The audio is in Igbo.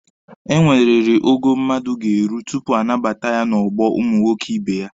Enweriri ogo mmadụ ga-eru tupu a nabata ya n'ọgbọ ụmụ nwoke ibe ya.